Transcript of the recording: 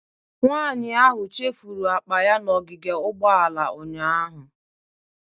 Nwanyị ahụ chefuru akpa ya n'ogige ugbooala ụnyahụ.